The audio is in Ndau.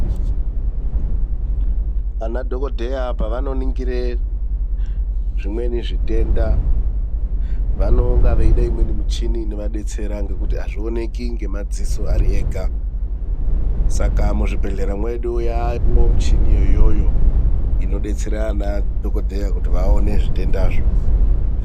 Ana dhokodheya pavanongire zvimweni zvitenda vanonga vachida imweni michini inovadetsera ngekuti azvionekwi ngemadziso ega saka muzvibhehlera mwedu yaamwo michiniyo iyoyo inodetsera ana dhokodheya kuti vaone zvitendazvo.